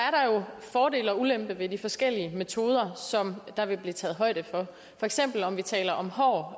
fordele og ulemper ved de forskellige metoder som der vil blive taget højde for for eksempel om vi taler om hård